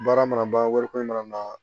Baara mana ban wari ko mana na